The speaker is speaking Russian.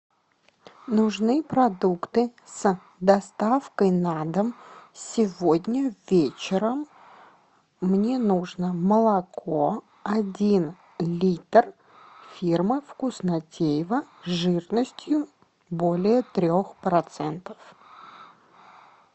нужны продукты с доставкой на дом сегодня вечером мне нужно молоко один литр фирмы вкуснотеево жирностью более трех процентов